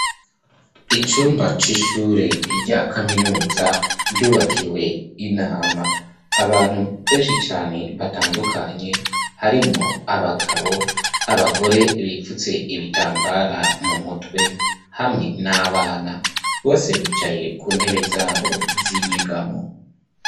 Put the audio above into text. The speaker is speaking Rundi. Icumba c'ishure rya kaminuza ryubakiwe inama. Abantu benshi cane batandukanye harimwo abagabo, abagore bipfutse ibitambara mu mutwe hamwe n'abana. Bose bicaye ku ntebe zabo z'inyegamo.